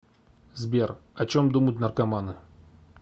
сбер о чем думают наркоманы